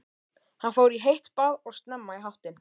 Hann fór í heitt bað og snemma í háttinn.